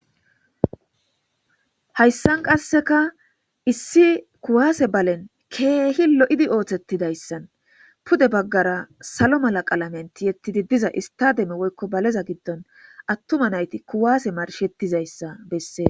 hayssan qasseka issi kuwaase balen keehi lo7idi oothettidayssan pude baggara salo mala qalamenti yettidi diza istademe woykko baleza giddon attuma nayti kuwaase marshettizayssa bessee